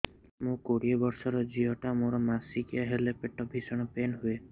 ମୁ କୋଡ଼ିଏ ବର୍ଷର ଝିଅ ଟା ମୋର ମାସିକିଆ ହେଲେ ପେଟ ଭୀଷଣ ପେନ ହୁଏ